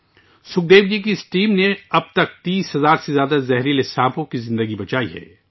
سکھدیو جی کی اس ٹیم نے اب تک 30 ہزار سے زیادہ زہریلے سانپوں کی جان بچائی ہے